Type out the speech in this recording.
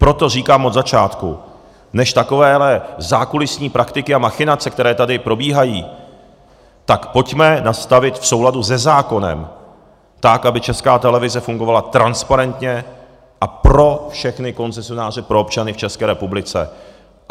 Proto říkám od začátku, než takovéto zákulisní praktiky a machinace, které tady probíhají, tak pojďme nastavit v souladu se zákonem tak, aby Česká televize fungovala transparentně a pro všechny koncesionáře, pro občany v České republice.